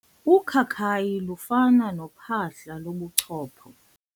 Ukhakayi lufana nophahla lobuchopho.